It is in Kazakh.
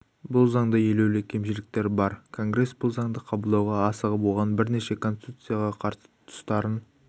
бұл заңда елеулі кемшіліктер бар конгрес бұл заңды қабылдауға асығып оған бірнеше конституцияға қарсы тұстарын